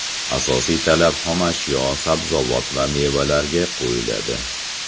Asosiy talab xomashyo – sabzavot va mevalarga qo‘yiladi.